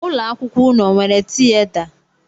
Ụlọ akwụkwọ ụnụ o nwere tieta?